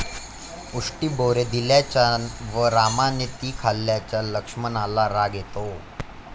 उष्टी बोरे दिल्याचा व रामाने ती खाल्ल्याचा लक्ष्मणाला राग येतो.